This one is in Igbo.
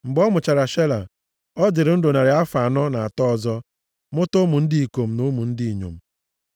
Mgbe ọ mụchara Shela, ọ dịrị ndụ narị afọ anọ na atọ ọzọ, mụta ụmụ ndị ikom na ụmụ ndị inyom.